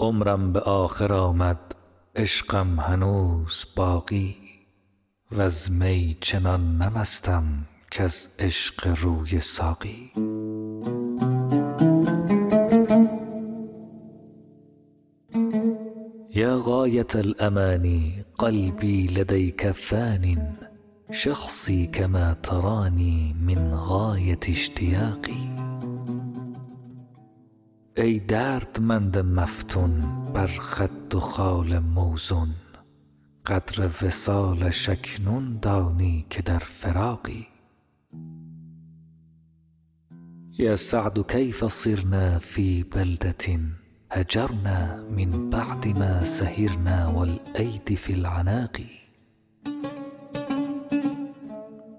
عمرم به آخر آمد عشقم هنوز باقی وز می چنان نه مستم کز عشق روی ساقی یا غایة الأمانی قلبی لدیک فانی شخصی کما ترانی من غایة اشتیاقی ای دردمند مفتون بر خد و خال موزون قدر وصالش اکنون دانی که در فراقی یا سعد کیف صرنا فی بلدة هجرنا من بعد ما سهرنا و الایدی فی العناق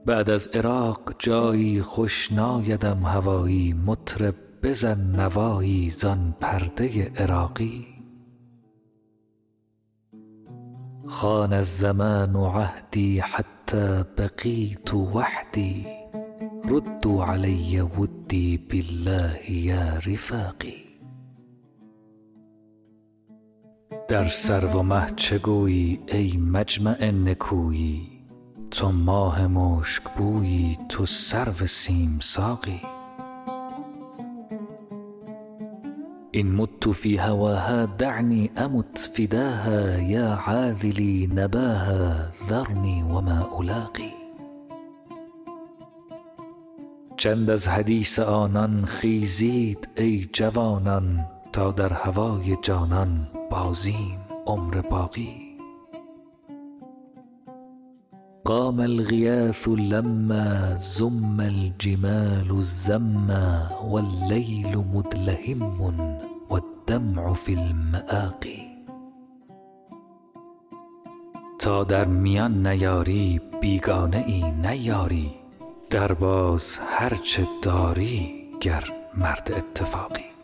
بعد از عراق جایی خوش نایدم هوایی مطرب بزن نوایی زان پرده عراقی خان الزمان عهدی حتی بقیت وحدی ردوا علی ودی بالله یا رفاقی در سرو و مه چه گویی ای مجمع نکویی تو ماه مشکبویی تو سرو سیم ساقی ان مت فی هواها دعنی امت فداها یا عاذلی نباها ذرنی و ما الاقی چند از حدیث آنان خیزید ای جوانان تا در هوای جانان بازیم عمر باقی قام الغیاث لما زم الجمال زما و اللیل مدلهما و الدمع فی المآقی تا در میان نیاری بیگانه ای نه یاری درباز هر چه داری گر مرد اتفاقی